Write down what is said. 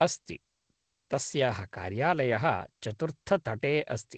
अस्ति, तस्याः कार्यालयः चतुर्थतटे अस्ति।